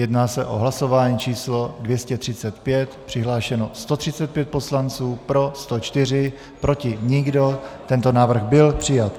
Jedná se o hlasování číslo 235, přihlášeno 135 poslanců, pro 104, proti nikdo, tento návrh byl přijat.